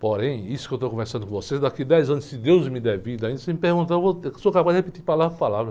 Porém, isso que eu estou conversando com vocês, daqui a dez anos, se Deus me der vida ainda, você me pergunta, eu vou, eu sou capaz de repetir palavra por palavra.